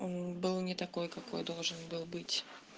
он был не такой какой должен был быть